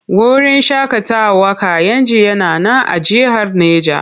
Wurin shaƙatawar Kayenji yana nan a jihar Neja.